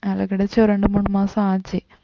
வேலை கிடைச்சு ஒரு இரண்டு மூணு மாசம் ஆச்சு